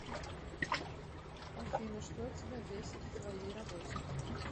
афина что тебя бесит в твоей работе